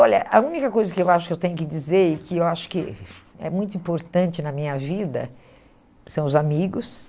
Olha, a única coisa que eu acho que eu tenho que dizer e que eu acho que é muito importante na minha vida são os amigos.